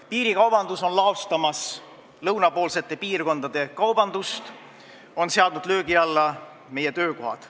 Piirikaubandus laostab lõunapoolsete piirkondade kaubandust ja on seadnud löögi alla meie töökohad.